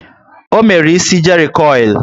O mere ísì jerry coil